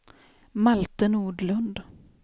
Malte Nordlund